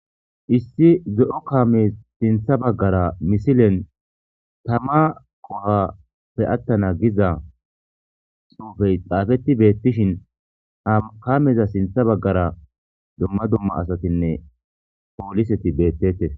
Issi ze7o kame sintha baggara misilen tama kohappe attana giza soofey xaafeti beettishin kameza sintha baggara dumma dumma asatinne pooliseti beettetes.